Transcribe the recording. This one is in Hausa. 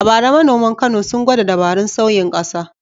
A bara manoman Kano sun gwada dabarun sauyin ƙasa.